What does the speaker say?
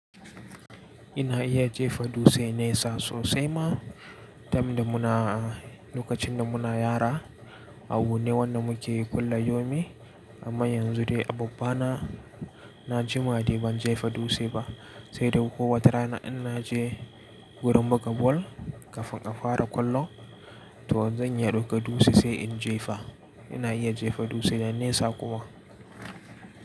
Ina iya jefa dutse nesa sosai ma, tun da muna lokacin da muna yara a abu ne wanda muke kula yomi. Amma yanzu dai a babba na, na jima dai ban jefa dutse ba, sai dai ko wace rana in naje wurin buga bal ka fa ka fara ƙwallo, to zan iya ɗauka a dutse sai in jefa. Ina iya jefa dutse da nesa kuma.